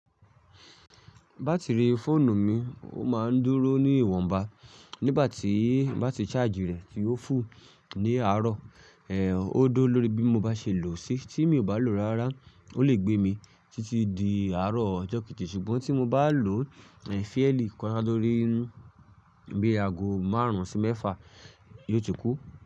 Batiri fóònù mi ó máa ń dúró ní ìwọ̀nba nígbà tí n bá ti charge rẹ̀ ti ó full ní àárọ̀, ẹ ó dó lórí bí mo bá ṣe lò ó sí. Tí mi ò bá lò ó rárá, ó lè gbé mi títí di àárọ̀ ọjọ́ kejì. Ṣùgbọ́n tí mo bá lò ó fairly kọjá lórí bí i ago márùn-ún sí mẹ́fà, yóò ti kú.